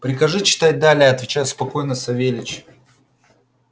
прикажи читать далее отвечал спокойно савельич